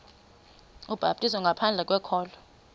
ubhaptizo ngaphandle kokholo